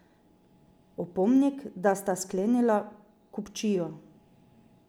Opomnik, da sta sklenila kupčijo.